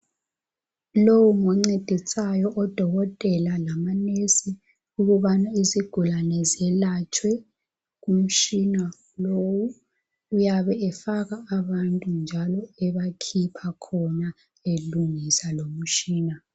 Lowu ngoncedisayo odokotela lamanesi ukubana izigulane zelatshwe . Umtshina lowu uyabe efaka abantu njalo ebakhipha khona elungisa lumtshina .